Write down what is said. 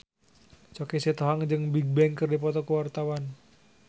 Choky Sitohang jeung Bigbang keur dipoto ku wartawan